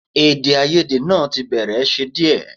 Èdèàìyedè náà tí bẹ̀rẹ̀ ṣe díẹ̀